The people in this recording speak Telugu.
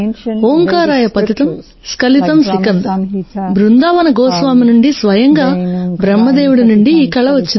ఓంకారాయ పతితం స్కిలతం సికంద్ బృందావన గోస్వామినుండి స్వయంగా బ్రహ్మ దేవుడి నుండి ఈ కళ వచ్చింది